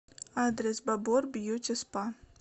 адрес бабор бьюти спа